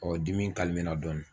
Ɔ dimi kalimela dɔɔni